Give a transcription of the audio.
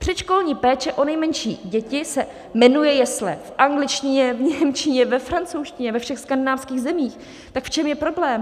Předškolní péče o nejmenší děti se jmenuje jesle v angličtině, v němčině, ve francouzštině, ve všech skandinávských zemích - tak v čem je problém?